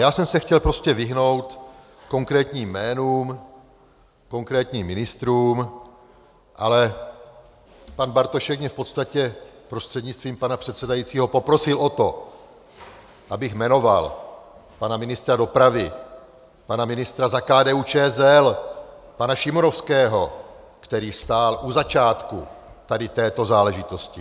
Já jsem se chtěl prostě vyhnout konkrétním jménům, konkrétním ministrům, ale pan Bartošek mě v podstatě prostřednictvím pana předsedajícího poprosil o to, abych jmenoval pana ministra dopravy, pana ministra za KDU-ČSL, pana Šimonovského, který stál u začátku tady této záležitosti.